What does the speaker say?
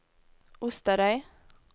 Osterøy